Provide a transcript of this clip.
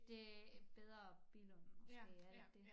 Det bedre Billund måske er det ikke dét